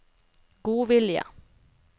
godvilje